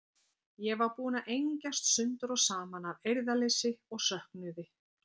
Ég var búin að engjast sundur og saman af eirðarleysi og söknuði.